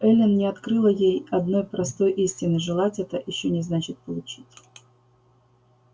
эллин не открыла ей одной простой истины желать это ещё не значит получить